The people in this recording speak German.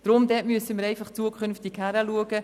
Dort müssen wir zukünftig hinschauen.